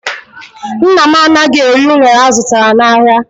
Nna m anaghị eri unere azụtara n'ahịa.